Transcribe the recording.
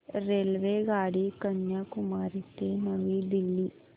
रेल्वेगाडी कन्याकुमारी ते नवी दिल्ली